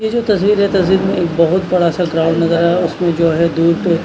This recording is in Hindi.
ये जो तस्वीर है तस्वीर में एक बहुत बड़ा सा ग्राउंड नजर आ रहा है उसमें जो है दूर पे--